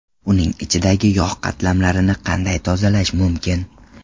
Uning ichidagi yog‘ qatlamlarini qanday tozalash mumkin?